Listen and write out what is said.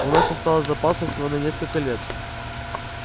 у нас осталось запасов всего на несколько лет